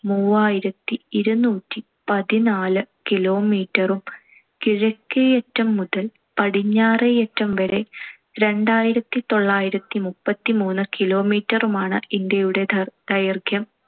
മൂവായിരത്തി ഇരുനൂറ്റി പതിനാല് kilometer ഉം കിഴക്കേയറ്റം മുതൽ പടിഞ്ഞാറേയറ്റം വരെ രണ്ടായിരത്തിതൊള്ളായിരത്തി മുപ്പത്തിമൂന്ന് kilometer മാണ് ഇന്ത്യയുടെ ദൈ~ ദൈർഘ്യം.